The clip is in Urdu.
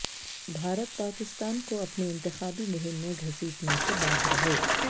بھارت پاکستان کو اپنی انتخابی مہم میں گھسیٹنے سے باز رہے